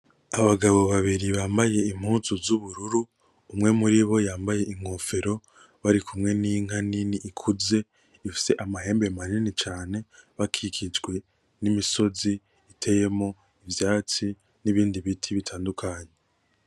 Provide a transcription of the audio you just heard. Abagabo babiri bambaye impuzi z'ubururu umwe muribo yambaye inkofero barikumwe n'inka nini ikuze ifise amahembe manini cane, bakikijwe n'imisozi iteyemwo ivyatsi n'ibindi biti bitadukanye.